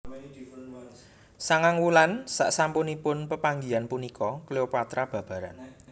Sangang wulan sasampunipun pepanggihan punika Cleopatra babaran